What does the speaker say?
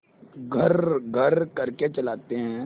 घर्रघर्र करके चलाते हैं